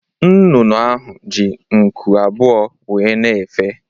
Nnụnụ ahụ ji nku abụọ wéé na-efe.